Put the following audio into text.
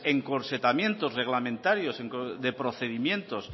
encorsetamientos reglamentarios de procedimientos